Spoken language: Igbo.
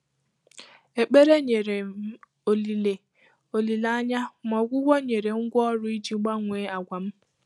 Ékpèré nyèrè m ólílé ólílé ányá, mà ọgwụ́gwọ́ nyèrè ngwá ọrụ́ ìjí gbànwèé àgwà m.